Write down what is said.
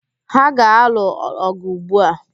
Ha ga-alụ ọ̀gụ̀ ugbu a.